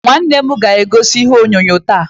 Nwanne m ga-egosi ihe onyonyo taa.